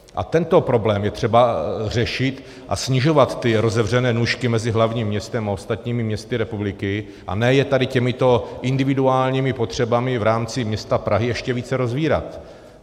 A tento problém je třeba řešit a snižovat ty rozevřené nůžky mezi hlavním městem a ostatními městy republiky, a ne je tady těmito individuálními potřebami v rámci města Prahy ještě více rozevírat.